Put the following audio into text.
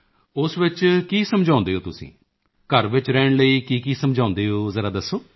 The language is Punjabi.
ਉਸ ਵਿੱਚ ਕੀ ਸਮਝਾਉਂਦੇ ਹੋ ਤੁਸੀਂ ਘਰ ਵਿੱਚ ਰਹਿਣ ਲਈ ਕੀਕੀ ਸਮਝਾਉਂਦੇ ਹੋ ਜ਼ਰਾ ਦੱਸੋ